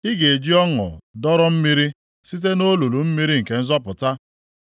Ị ga-eji ọṅụ dọrọ mmiri site nʼolulu mmiri nke nzọpụta.